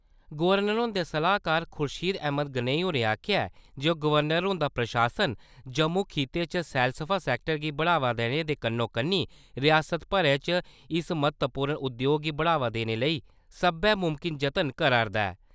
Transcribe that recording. Governor हुंदे सलाह्कार खुर्शीद अहमद गनेई होरें आखेआ ऐ जे गवर्नर हुंदा प्रशासन जम्मू खित्ते च सैलसफा सैक्टर गी बढ़ावा देने दे कन्नो-कन्नी रिआसत भरै च इस महत्वपूर्ण उद्योग गी बढ़ावा देने लेई सब्बै मुमकिन जतन करा 'रदा ऐ ।